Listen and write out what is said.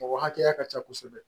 Mɔgɔ hakɛya ka ca kosɛbɛ